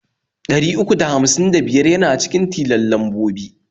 Ɗari uku da hamsin da biyar yana cikin tilon lambobi.